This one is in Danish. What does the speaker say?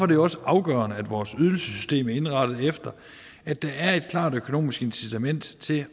det også afgørende at vores ydelsessystem er indrettet efter at der er et klart økonomisk incitament til